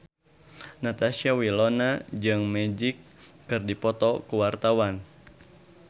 Natasha Wilona jeung Magic keur dipoto ku wartawan